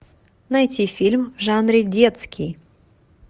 найти фильм в жанре детский